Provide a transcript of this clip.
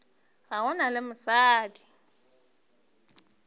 ga go na le mosadi